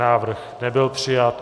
Návrh nebyl přijat.